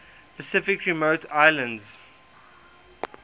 pacific remote islands